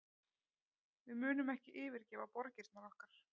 Við munum ekki yfirgefa borgirnar okkar